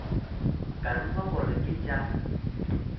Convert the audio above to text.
ka ruma gore ke tša